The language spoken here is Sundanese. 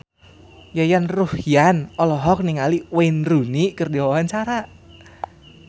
Yayan Ruhlan olohok ningali Wayne Rooney keur diwawancara